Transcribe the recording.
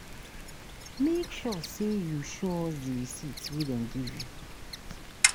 Make sure sey you show us di receipt wey dem give you.